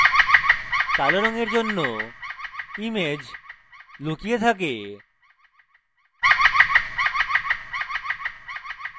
কালো রঙের জন্য image লুকিয়ে থাকে